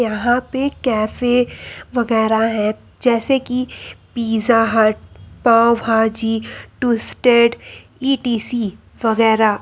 यहां पे कैफे वगैरा हैं जैसे कि Pizza Hut pav bhaji twisted E T C वगैरा --